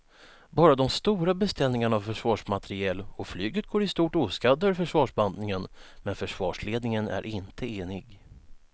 Bara de stora beställningarna av försvarsmateriel och flyget går i stort oskadda ur försvarsbantningen men försvarsledningen är inte enig.